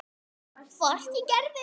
Hvort ég gerði.